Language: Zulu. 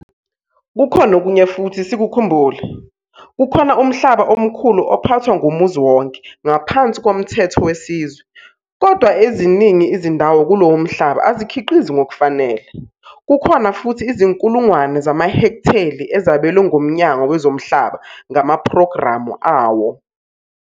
Kukhona okunye futhi sikukhumbule, kukhona umhlaba omkhulu ophathwa ngumuzi wonke, ngaphansi komthetho wesizwe. kodwa eziningi izindawo kulowo mhlaba azikhiqizi ngokufanele. Kukhona futhi izinkulunkulungwane zamahektheli ezabelwe nguMnyango Wezomhlaba ngamaphrogramu awo.